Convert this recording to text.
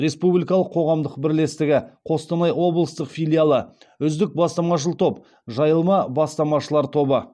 республикалық қоғамық бірлестігі қостанай облыстық филиалы үздік бастамашыл топ жайылма бастамашылар тобы